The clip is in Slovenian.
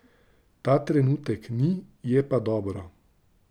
Ta trenutek ni, je pa dobro.